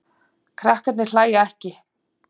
Krakkarnir hlæja ekki.